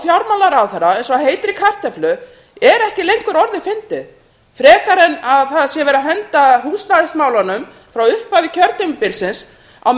fjármálaráðherra eins og heitri kartöflu er ekki lengur fyndið frekar en að það sé verið að henda húsnæðismálunum frá upphafi kjörtímabilsins á